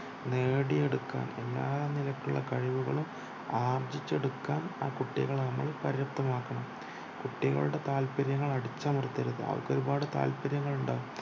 നേടിയെക്കണ് എല്ലാ നിരക്കുള്ള കഴിവുകളും ആർജിച്ചെടുക്കാൻ ആ കുട്ടികളെ നമ്മൾ പര്യാതപമാക്കണം കുട്ടികളുടെ താല്പര്യങ്ങൾ അടിച്ചമർത്തരുത് അവർക്കൊരുപാട് താല്പര്യങ്ങൾ ഉണ്ടാകും